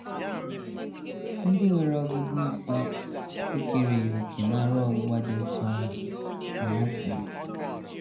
“ Ndị nwere ọgụgụ isi... ekereghị òkè n’ara ọgbụgba dị otú ahụ, ” ka ha sịrị.